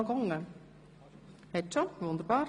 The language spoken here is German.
– Ich sehe keine Wortmeldungen.